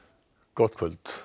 gott kvöld